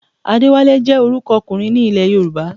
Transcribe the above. Adéwálé jẹ́ orúkọ ọkùnrin ní ilẹ̀ Yorùbá